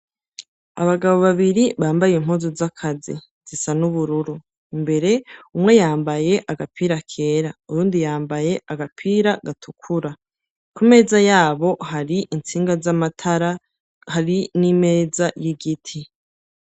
Abagabo babiri bambaye impuzu z'akazi zisa n'ubururu, imbere umwe yambaye agapira kera uwundi yambaye agapira gatukura, ku meza yabo hari intsinga z'amatara hari n'imeza y'igiti.